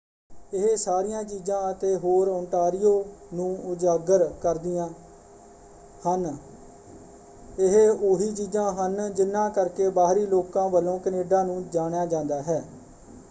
ਇਹ ਸਾਰੀਆਂ ਚੀਜਾਂ ਅਤੇ ਹੋਰ ਓਟਾਂਰੀਓ ਨੂੰ ਉਜਾਗਰ ਕਰਦੀਆਂ ਹਨ ਇਹ ਉਹੀ ਚੀਜਾਂ ਹਨ ਜਿਨ੍ਹਾਂ ਕਰਕੇ ਬਾਹਰੀ ਲੋਕਾਂ ਵੱਲੋਂ ਕੈਨੇਡਾ ਨੂੰ ਜਾਣਿਆ ਜਾਂਦਾ ਹੈ।